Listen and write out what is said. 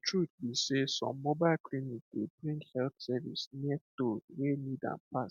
the truth be sey mobile clinic dey bring health service near those wey need am pass